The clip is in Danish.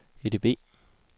EDB